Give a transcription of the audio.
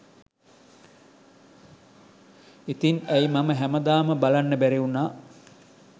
ඉතින් ඇයි මම හැමදාම බලන්න බැරි වුනා